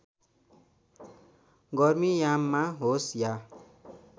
गर्मीयाममा होस् या